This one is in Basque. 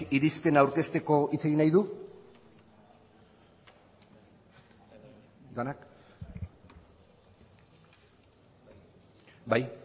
irizpena aurkezteko hitz egin nahi du denak bai